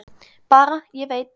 Bara: Ég veit.